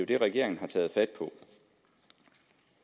det regeringen har taget fat